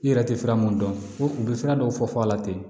I yɛrɛ tɛ fɛrɛ minnu dɔn ko u bɛ sira dɔw fɔ a la ten